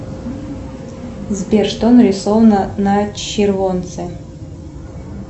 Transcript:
сбер что нарисовано на червонце